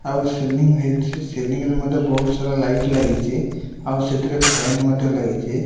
ଆଉ ସିଲିଂ ହେଇଚି। ସିଲିଂ ରେ ମୂ ବୋହୁତ ସାରା ଲାଇଟ୍ ଲାଗିଚି। ଆଉ ସେଥିରେ ଫ୍ୟାନ ମଧ୍ୟ ଲାଗିଚି।